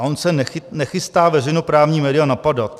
A on se nechystá veřejnoprávní média napadat.